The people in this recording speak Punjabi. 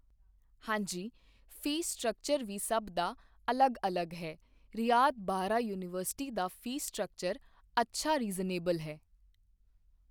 ਹਾਂਜੀ ਫੀਸ ਸਟੱਕਚਰ ਵੀ ਸਭ ਦਾ ਅਲੱਗ ਅਲੱਗ ਹੈ ਰਿਆਤ ਬਾਹਰਾ ਯੂਨੀਵਰਸਿਟੀ ਦਾ ਫੀਸ ਸਟਰਕਚਰ ਅੱਛਾ ਆ ਰੀਜਨਏਬਲ ਹੈ